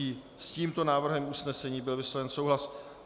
I s tímto návrhem usnesení byl vysloven souhlas.